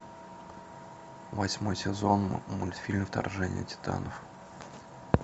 восьмой сезон мультфильм вторжение титанов